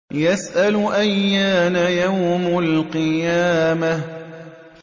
يَسْأَلُ أَيَّانَ يَوْمُ الْقِيَامَةِ